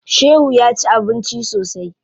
Shehu ya ci abinci sosai.